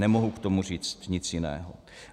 Nemohu k tomu říct nic jiného.